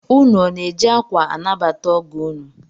Ụnụ ọ na-eji akwa anabata ọgọ ụnụ?